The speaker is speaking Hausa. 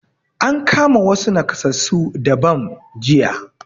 An kama wassu nakasassu da bam jiya